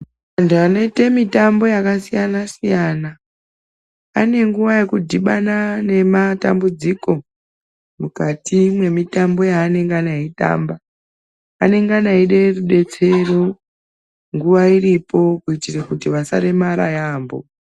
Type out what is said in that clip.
Antu anoite mitambo yakasiyana -siyana anenguwa yekudhibana nematambudziko, mukati mwemitambi yanengana eitamba. Anengana eide rudetsero nguwa iripo kuitira kuti vasaremara yaamho.